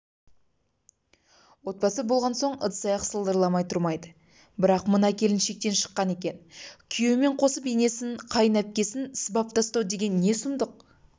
отбасы болғансоң ыдыс-аяқ сылдырамай тұрмайды бірақ мына келін шектен шыққан екен күйеуімен қосып енесін қайын әпкесін сыбап тастау деген не сұмдық